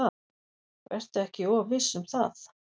Vertu ekki of viss um það.